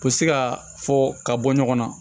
U bɛ se ka fɔ ka bɔ ɲɔgɔn na